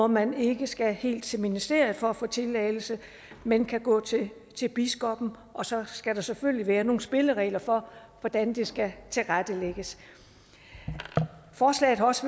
man ikke skal helt til ministeriet for at få tilladelse men kan gå til biskoppen og så skal der selvfølgelig være nogle spilleregler for hvordan det skal tilrettelægges forslaget har også